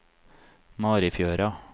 Marifjøra